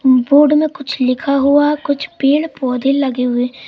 board में कुछ लिखा हुआ है कुछ पेड़ पौधे लगे हुए--